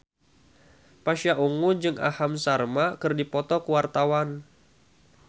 Pasha Ungu jeung Aham Sharma keur dipoto ku wartawan